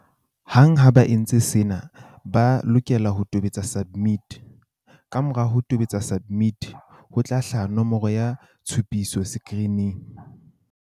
Hang ha ba entse sena, ba lokela ho tobetsa SUBMIT. Kamora ho tobetsa SUBMIT, ho tla hlaha nomoro ya tshupiso sekirining.